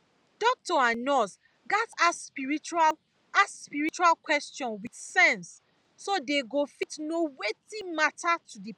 doctor and nurse gatz ask spiritual ask spiritual question with sense so dey go fit know wetin matter to the person